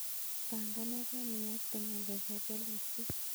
Pangangen iyokte ngalek ab walutiet